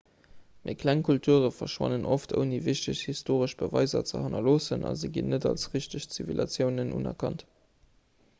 méi kleng kulture verschwannen oft ouni wichteg historesch beweiser ze hannerloossen a se ginn net als richteg zivilisatiounen unerkannt